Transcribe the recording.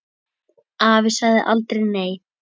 Afi sagði aldrei nei.